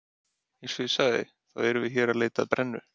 Eins og ég sagði, þá erum við hér að leita að brennu